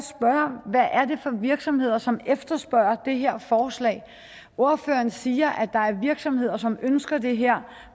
for virksomheder som efterspørger det her forslag ordføreren siger at der er virksomheder som ønsker det her